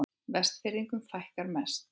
Vestfirðingum fækkar mest